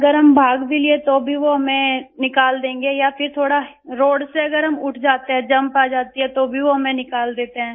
अगर हम भाग भी लिए तो भी वो हमें निकाल देंगे या फिर थोड़ा रोड से अगर हम उठ जाते हैं जंप आ जाती है तो भी वो हमें निकाल देते हैं